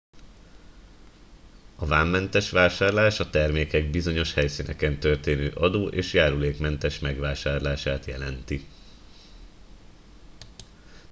a vámmentes vásárlás a termékek bizonyos helyszíneken történő adó és járulékmentes megvásárlását jelenti